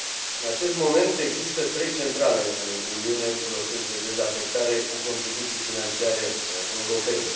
În acest moment, există trei centrale în Uniune în proces de dezafectare cu contribuții financiare europene.